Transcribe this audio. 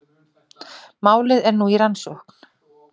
Málið er nú í rannsókn